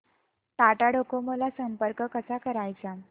Tata Docomo ला संपर्क कसा करायचा